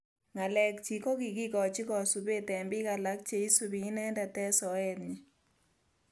Ngalek chik kokikikochi kasubet eng bik alak cheisubi inendet eng soet nyi